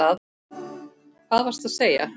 Hvað varstu að segja?